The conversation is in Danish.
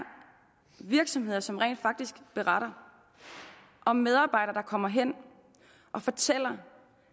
virksomheder som rent faktisk beretter om medarbejdere der kommer og fortæller